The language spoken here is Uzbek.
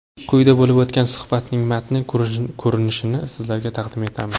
Quyida bo‘lib o‘tgan suhbatning matn ko‘rinishini sizlarga taqdim etamiz.